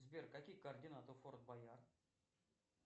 сбер какие координаты у форд боярд